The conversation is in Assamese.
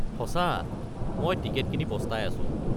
সঁচা, মই টিকট কিনি পস্তাই আছো।